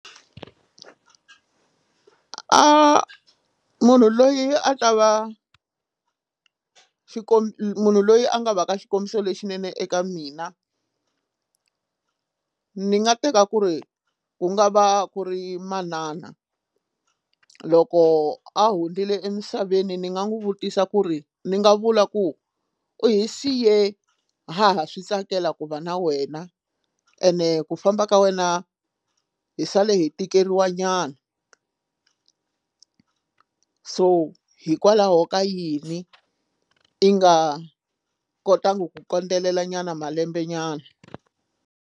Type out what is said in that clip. Munhu loyi a ta va munhu loyi a nga va ka xikombiso lexinene eka mina ni nga teka ku ri ku nga va ku ri manana loko a hundzile emisaveni ni nga n'wi vutisa ku ri ni nga vula ku u hi siye haha swi tsakela ku va na wena ene ku famba ka wena hi sale hi tikeliwa nyana so hikwalaho ka yini i nga kotangi ku kondelela nyana malembe nyana.